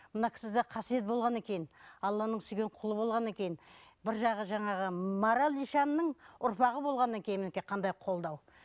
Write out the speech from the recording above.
мына кісі де қасиет болғаннан кейін алланың сүйген құлы болғаннан кейін бір жағы жаңағы марал ишанның ұрпағы болғаннан кейін мінекей қандай қолдау